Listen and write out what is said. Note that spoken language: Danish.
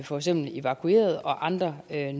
for eksempel evakuerede og andre